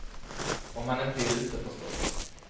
Om han inte är ute förstås.